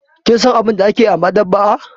Kin san abin da ake yi a maɗaba'a?